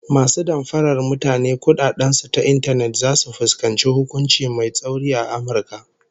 Masu damfarar mutane kudaden su ta intanet zasu fuskanci hukunci mai tsauri a Amurka